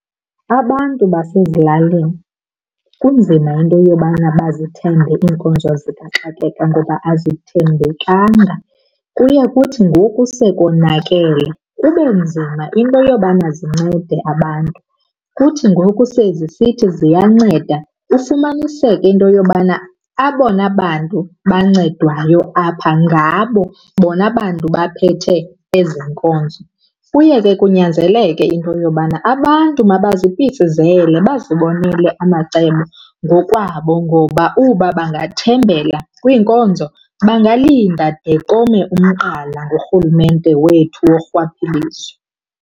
Abantu basezilalini kunzima into yobana bazithembe iinkonzo zikaxakeka ngoba azithembekanga, kuye kuthi ngoku sekonakele kube nzima into yobana zincede abantu. Kuthi ngoku sezisithi ziyanceda ufumaniseke into yobana abona bantu bancedwayo apha ngabo bona bantu baphethe ezi nkonzo. Kuye ke kunyanzeleke into yobana abantu mabazipitshizele bazibonele amacebo ngokwabo ngoba uba bangathembela kwiinkonzo bangalinda de kome umqala ngurhulumente wethu worhwaphilizo.